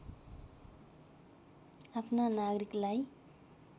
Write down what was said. आफ्ना नागरिकलाई